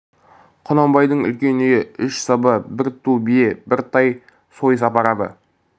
құнанбайдың үлкен үйі үш саба бір ту бие бір тай сойыс апарады